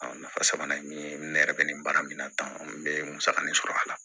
nafa sabanan ye min ye ne yɛrɛ bɛ nin baara min na tan n bɛ musakanin sɔrɔ a la